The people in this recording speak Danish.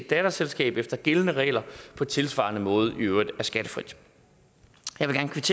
datterselskab efter gældende regler på tilsvarende måde i øvrigt er skattefrit